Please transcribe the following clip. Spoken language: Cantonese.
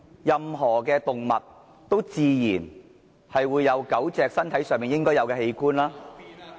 任何狗隻也自然會有狗隻身上應有的器官。